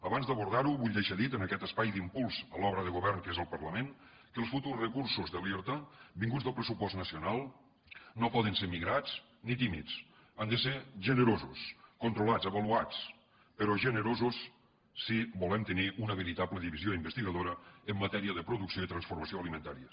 abans d’abordarho vull deixar dit en aquest espai d’impuls a l’obra de go vern que és el parlament que els futurs recursos de l’irta vinguts del pressupost nacional no poden ser migrats ni tímids han de ser generosos controlats avaluats però generosos si volem tenir una veritable divisió investigadora en matèria de producció i transformació alimentàries